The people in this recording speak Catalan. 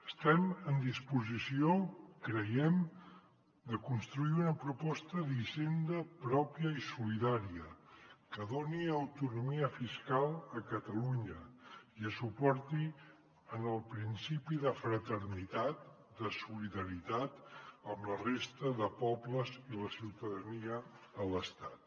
estem en disposició creiem de construir una proposta d’hisenda pròpia i solidària que doni autonomia fiscal a catalunya i es suporti en el principi de fraternitat de solidaritat amb la resta de pobles i la ciutadania de l’estat